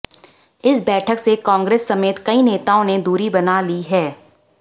इस बैठक से कांग्रेस समेत कईं नेताओं ने दूरी बना ली है